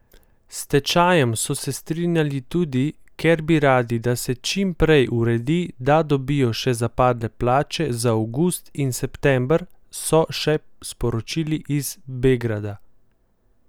S stečajem so se strinjali tudi, ker bi radi, da se čim prej uredi, da dobijo še zapadle plače za avgust in september, so še sporočili iz Begrada.